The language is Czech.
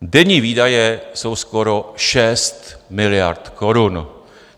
Denní výdaje jsou skoro 6 miliard korun.